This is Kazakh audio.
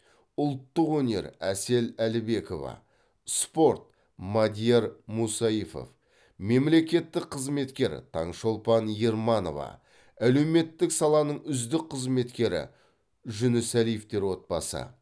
ұлттық өнер әсел әлібекова спорт мадияр мусаифов мемлекеттік қызметкер таңшолпан ерманова әлеуметтік саланың үздік қызметкері жүнісәлиевтер отбасы